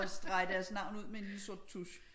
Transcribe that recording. Og strege deres navn ud med en lille sort tusch